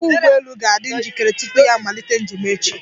Ọkwọ́ ụgbọelu ga-adị njikere tupu ya amalite njem echi.